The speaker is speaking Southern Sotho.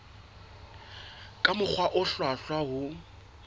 ka mokgwa o hlwahlwa ho